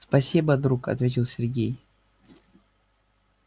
спасибо друг ответил сергей